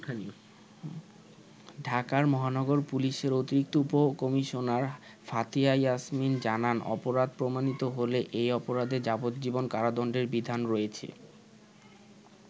ঢাকা মহানগর পুলিশের অতিরিক্ত উপ কমিশনার ফাতিহা ইয়াসমিন জানান, অপরাধ প্রমাণিত হলে এই অপরাধে যাবজ্জীবন কারাদণ্ডের বিধান রয়েছে।